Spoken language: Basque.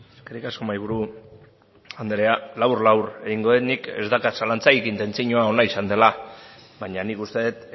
eskerrik asko mahaiburu anderea labur labur egingo dut nik ez daukat zalantzarik intentzioa ona izan dela baina nik uste dut